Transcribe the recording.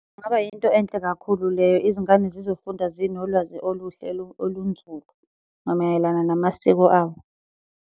Kungaba yinto enhle kakhulu leyo, izingane zizofunda zinolwazi oluhle olunzulu namayelana namasiko abo.